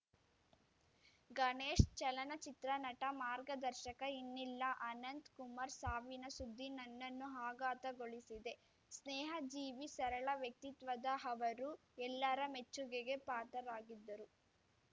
ಗಣೇಶ್‌ ಚಲನಚಿತ್ರ ನಟ ಮಾರ್ಗದರ್ಶಕ ಇನ್ನಿಲ್ಲ ಅನಂತಕುಮಾರ್ ಸಾವಿನ ಸುದ್ದಿ ನನ್ನನ್ನು ಆಘಾತಗೊಳಿಸಿದೆ ಸ್ನೇಹ ಜೀವಿ ಸರಳ ವ್ಯಕ್ತಿತ್ವದ ಅವರು ಎಲ್ಲಾರ ಮೆಚ್ಚುಗೆಗೆ ಪಾತ್ರರಾಗಿದ್ದರು